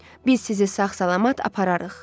Biz sizi sağ-salamat apararıq.